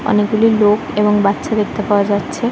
অনেকগুলি লোক এবং বাচ্চা দেখতে পাওয়া যাচ্ছে।